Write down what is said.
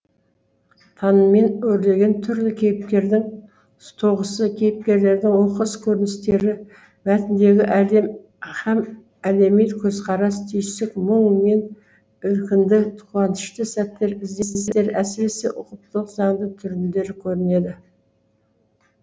таныммен өрілген түрлі кейіпкердің тоғысы кейіпкерлердің оқыс көріністері мәтіндегі әлем һәм әлеми көзқарас түйсік мұң мен ілкінді қуанышты сәттер ізденістер әсіресе ұқыптылық заңды түрендері көрінеді